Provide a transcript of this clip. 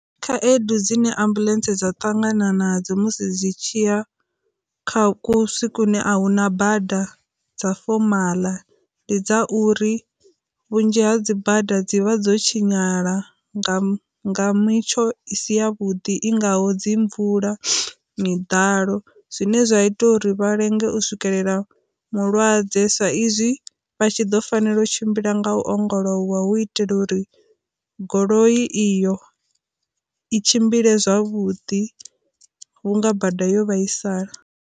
Khaedu dzine ambuḽentse dza ṱangana nadzo musi dzi tshiya kha kusi kune a huna bada dza fomala, ndi dza uri vhunzhi ha dzi bada dzi vha dzo tshinyala nga mitsho i si ya vhuḓi i ngaho dzi mvula, miḓalo, zwine zwa ita uri vha lenge u swikelela mulwadze sa izwi vha tshi ḓo fanela u tshimbila nga u ongolowa hu itela uri goloi iyo i tshimbile zwavhuḓi vhunga bada yo vhaisala.